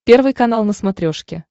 первый канал на смотрешке